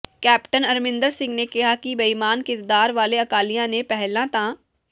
captain Amarinder Singh ਨੇ ਕਿਹਾ ਕਿ ਬੇਈਮਾਨ ਕਿਰਦਾਰ ਵਾਲੇ ਅਕਾਲੀਆਂ ਨੇ ਪਹਿਲਾਂ ਤਾਂ